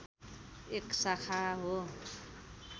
एक शाखा हो।